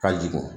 Ka jigin